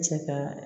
Cɛ ka